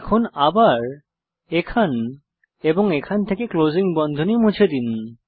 এখন আবার এখান এবং এখান থেকে ক্লোজিং বন্ধনী মুছে দিন